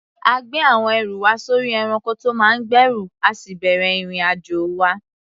A gbé àwọn ẹrù wa sórí ẹranko tó máa ń gbẹ́rù, a sì bẹ̀rẹ̀ ìrìn-àjò wa.